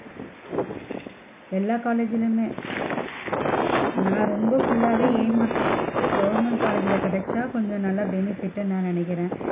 எல்லா college லையுமே நான் ரொம்ப full லாவே aim பண்றது வந்து government college ல கிடைச்சா கொஞ்சம் நல்லா benefit டுன்னு நான் நினைக்கிறன்.